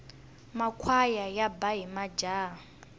makhwaya yaba hi majaha